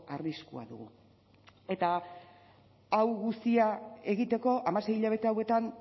arriskua dugu eta hau guztia egiteko hamasei hilabete hauetan